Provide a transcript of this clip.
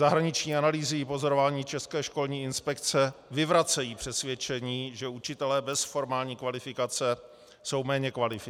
Zahraniční analýzy i pozorování České školní inspekce vyvracejí přesvědčení, že učitelé bez formální kvalifikace jsou méně kvalitní.